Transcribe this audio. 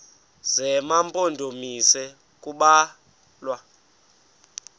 zema mpondomise kubalwa